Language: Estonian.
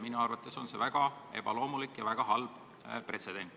Minu arvates on see väga ebaloomulik ja väga halb pretsedent.